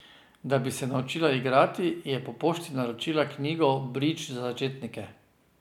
Da bi se naučila igrati, je po pošti naročila knjigo Bridž za začetnike.